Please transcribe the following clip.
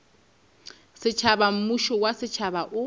setšhaba mmušo wa setšhaba o